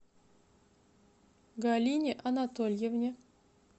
галине анатольевне